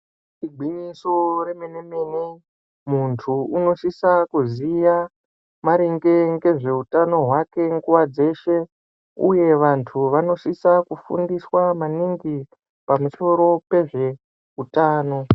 Igwinyiso remene-mene. Muntu unosisa kuziya maringe ngezveutano hwake nguwa dzeshe uye vantu vanosisa kufundiswa maningi pamusoro pezveutano.